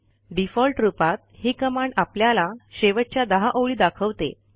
default रूपात ही command आपल्याला शेवटच्या 10 ओळी दाखवते